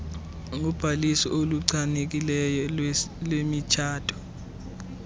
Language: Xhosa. ngobhaliso oluchanekileyo lwemitshato